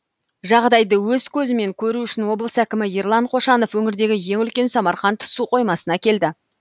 жағдайды өз көзімен көру үшін облыс әкімі ерлан қошанов өңірдегі ең үлкен самарқанд су қоймасына келді